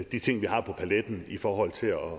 de ting vi har på paletten i forhold til at